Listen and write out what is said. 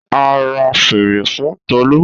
A ra fèrè fun Tolu.